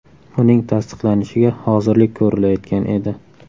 Uning tasdiqlanishiga hozirlik ko‘rilayotgan edi.